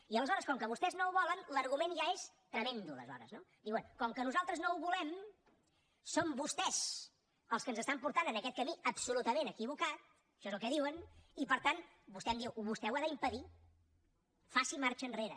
i aleshores com que vostès no ho volen l’argument ja és tremend aleshores no diuen com que nosaltres no ho volem són vostès els que ens estan portant en aquest camí absolutament equivocat això és el que diuen i per tant vostè m’ho diu vostè ho ha d’impedir faci marxa enrere